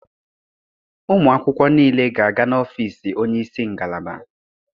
Ụmụ akwụkwọ niile ga-aga n'ọfiisi onye isi ngalaba.